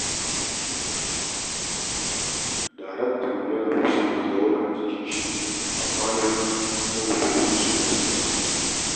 Daraktanmu yana ta so ya jawo ni jikinshi, amma na ƙi saboda gudun shiga siyasa.